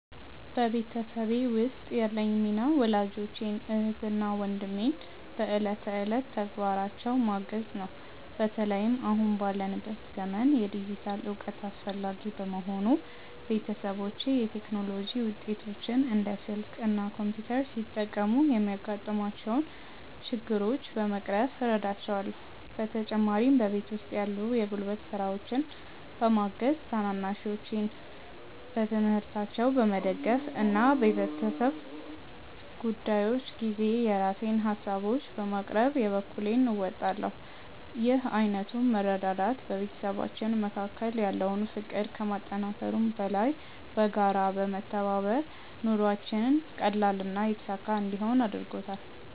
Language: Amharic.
በቤተሰቤ ውስጥ ያለኝ ሚና ወላጆቼን፣ እህትና ወንድሜን በዕለት ተዕለት ተግባራቸው ማገዝ ነው። በተለይም አሁን ባለንበት ዘመን የዲጂታል እውቀት አስፈላጊ በመሆኑ፣ ቤተሰቦቼ የቴክኖሎጂ ውጤቶችን (እንደ ስልክ እና ኮምፒውተር) ሲጠቀሙ የሚያጋጥሟቸውን ችግሮች በመቅረፍ እረዳቸዋለሁ። በተጨማሪም በቤት ውስጥ ያሉ የጉልበት ስራዎችን በማገዝ፣ ታናናሾቼን በትምህርታቸው በመደገፍ እና በቤተሰብ ጉዳዮች ጊዜ የራሴን ሃሳቦችን በማቅረብ የበኩሌን እወጣለሁ። ይህ ዓይነቱ መረዳዳት በቤተሰባችን መካከል ያለውን ፍቅር ከማጠናከሩም በላይ፣ በጋራ በመተባበር ኑሯችንን ቀላልና የተሳካ እንዲሆን አድርጎታል።